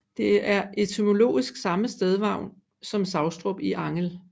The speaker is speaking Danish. Det er etymologisk samme stednavn som Savstrup i Angel